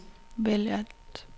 vælg alt